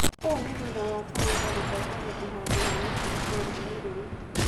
ũũ ni thutha wa Kalonzo gũtongoria ũhaandi wa mĩtĩ itũũra-inĩ rĩu